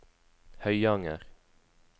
Høyanger